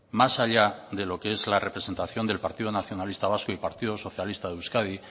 más allá de lo que es la representación del partido nacionalista vasco y partido socialista de euskadi